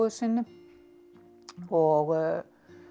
sinni og